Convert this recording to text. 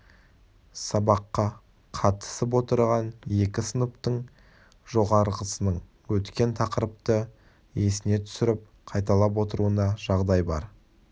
сабаққа қатысып отырған екі сыныптың жоғарғысының өткен тақырыпты есіне түсіріп қайталап отыруына жағдай бар